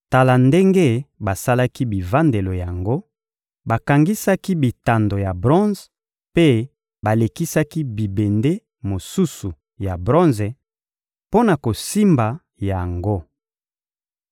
Tala ndenge basalaki bivandelo yango: bakangisaki bitando ya bronze mpe balekisaki bibende mosusu ya bronze mpo na kosimba yango.